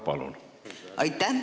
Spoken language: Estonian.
Palun!